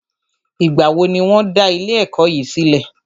Ìgbà wo ní wọ́n dá ilé ẹ̀kọ́ yìí sílẹ̀?